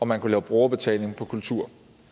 man kunne lave brugerbetaling på kultur